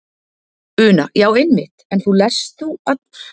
Una: Já einmitt en þú lestu þú alveg lengi í einu?